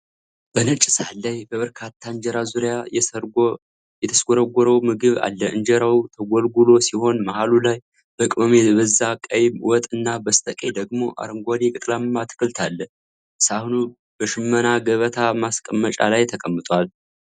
በነጭ ሳህን ላይ በበርካታ እንጀራ ዙሪያ የሰጎርጎረውን ምግብ አለ። እንጀራው ተጎልጉሎ ሲሆን፣ መሃሉ ላይ በቅመም የበዛ ቀይ ወጥ እና በስተቀኝ ደግሞ አረንጓዴ ቅጠላማ አትክልት አለ። ሳህኑ በሽመና ገበታ ማስቀመጫ ላይ ተቀምጧል።